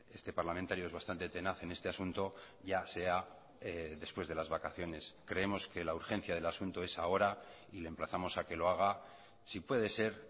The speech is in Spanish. este parlamentario es bastante tenaz en este asunto ya sea después de las vacaciones creemos que la urgencia del asunto es ahora y le emplazamos a que lo haga si puede ser